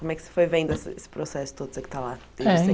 Como é que você foi vendo esse esse processo todo, você que está lá Eh Desde